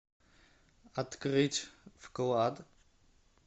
открыть вклад